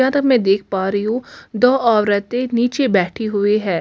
जहां तक मैं देख पा रही हूं दो औरतें नीचे बैठी हुई है।